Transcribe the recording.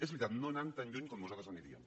és veritat no anant tan lluny com nosaltres aniríem